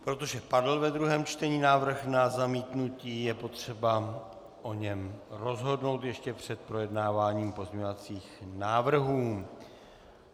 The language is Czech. Protože padl ve druhém čtení návrh na zamítnutí, je potřeba o něm rozhodnout ještě před projednáváním pozměňovacích návrhů.